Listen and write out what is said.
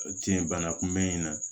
Tiɲɛ bana kunbɛn in na